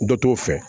Dɔ t'o fɛ